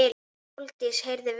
Sóldís heyrði vel.